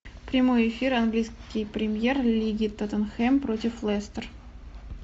прямой эфир английской премьер лиги тоттенхэм против лестер